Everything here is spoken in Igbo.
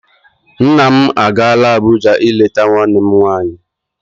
Nna m agaala Abụja ileta nwanne m nwanyi.